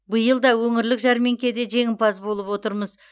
биыл да өңірлік жәрмеңкеде жеңімпаз болып отырмыз